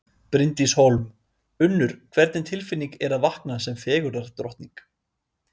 Bryndís Hólm: Unnur, hvernig tilfinning er að vakna sem fegurðardrottning?